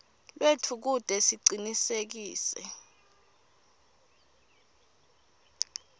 lwetfu kute sicinisekise